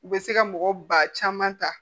U bɛ se ka mɔgɔ ba caman ta